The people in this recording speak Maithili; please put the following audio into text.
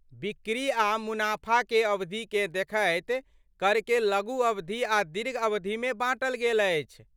बिक्री आ मुनाफाकेअवधिकेँ देखैत, करकेँ लघु अवधि आ दीर्घ अवधिमे बाँटल गेल अछि।